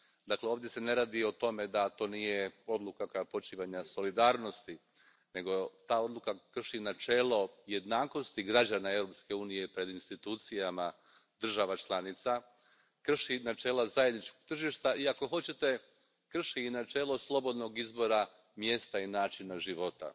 Dakle, ovdje se ne radi o tome da to nije odluka koja počiva na solidarnosti, nego ta odluka krši načelo jednakosti građana Europske unije pred institucijama država članica, krši načela zajedničkog tržišta i, ako hoćete, krši i načelo slobodnog izbora mjesta i načina života.